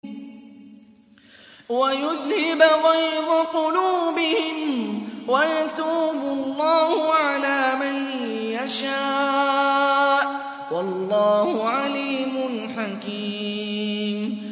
وَيُذْهِبْ غَيْظَ قُلُوبِهِمْ ۗ وَيَتُوبُ اللَّهُ عَلَىٰ مَن يَشَاءُ ۗ وَاللَّهُ عَلِيمٌ حَكِيمٌ